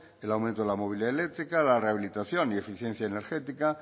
el aumento de la movilidad eléctrica la rehabilitación y eficiencia energética